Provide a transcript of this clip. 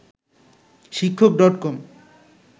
শিক্ষক ডট কম